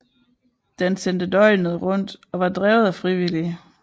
Den sendte døgnet rundt og var drevet af frivillige